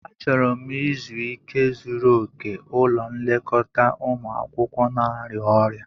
Achọrọ m izu ike zuru oke ulọ nlekota umụ akwukwo na-arịa ọrịa.